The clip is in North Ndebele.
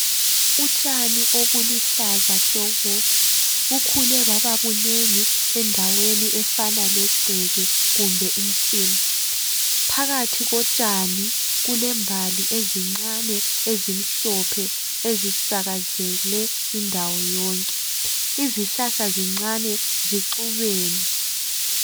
Utshani obuluhlaza tshoko bukhule bababunengi endaweni efana legceke kumbe insimu. phakathi kotshani kulembali ezincane ezimhlophe ezisakazeke indawo yonke. Izihlahla zincane zixubene.